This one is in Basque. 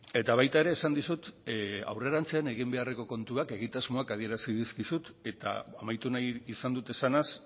eta baita ere esan dizut aurrerantzean egin beharreko kontuak egitasmoak adierazi dizkizut eta amaitu nahi izan dut esanaz